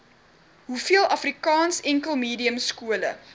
hoeveel afrikaansenkelmediumskole